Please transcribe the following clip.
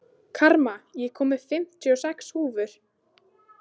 Karma, ég kom með fimmtíu og sex húfur!